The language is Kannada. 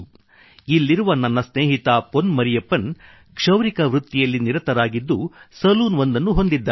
ಇಲ್ಲಿರುವ ನನ್ನ ಸ್ನೇಹಿತ ಪೊನ್ ಮರಿಯಪ್ಪನ್ ಕ್ಷೌರಿಕ ವೃತ್ತಿಯಲ್ಲಿ ನಿರತರಾಗಿದ್ದು ಸಲೂನ್ ಒಂದನ್ನು ಹೊಂದಿದ್ದಾರೆ